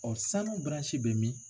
O sanu bɛ min?